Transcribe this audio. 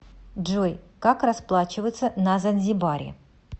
джой как расплачиваться на занзибаре